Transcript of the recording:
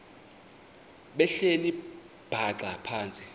behleli bhaxa phantsi